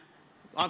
Auväärt minister!